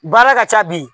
Baara ka ca bi